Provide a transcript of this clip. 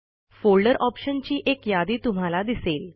folder ऑप्शनची एक यादी तुम्हाला दिसेल